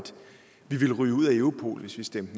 fuldstændig